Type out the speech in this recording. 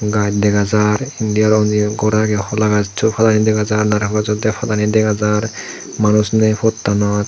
gaj dega jar endi aro unni gor age holagassu padani dega jar naricol gassu padani dega jar manus naye pottanot.